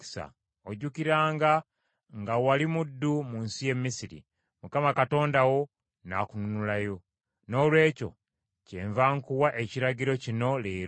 Ojjukiranga nga wali muddu mu nsi y’e Misiri, Mukama Katonda wo n’akununulayo. Noolwekyo kyenva nkuwa ekiragiro kino leero.